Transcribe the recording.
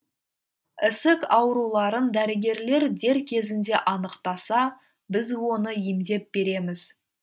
ісік ауруларын дәрігерлер дер кезінде анықтаса біз оны емдеп береміз